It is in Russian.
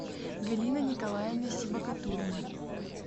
галина николаевна сибагатуллина